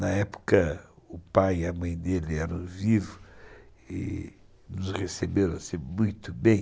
Na época, o pai e a mãe dele eram vivos e nos receberam assim, muito bem.